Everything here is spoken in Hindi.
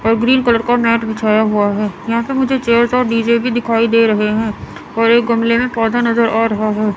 ग्रीन कलर का नेट बिछाया हुआ हैं यहां पे मुझे चेयर्स और डी_जे भी दिखाई दे रहे है और एक गमले में पौधा नजर आ रहा हैं।